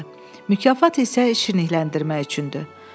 Mükafat isə şirnikləndirmək üçündür.